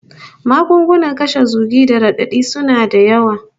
Magunguna kashe zugi da radadi suna da yawa